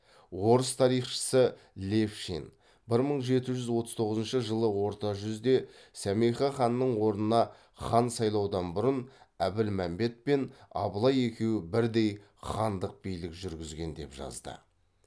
орыс тарихшысы левшин бір мың жеті жүз отыз тоғызыншы жылы орта жүзде сәмеке ханның орнына хан сайлаудан бұрын әбілмәмбет пен абылай екеуі бірдей хандық билік жүргізген деп жазды